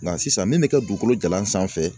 Nka sisan ne bɛ ka dugukolo jalan sanfɛ